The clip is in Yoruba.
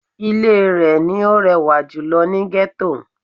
Ilé rẹ̀ ni ó rẹwà jùlō ni Gẹ́tò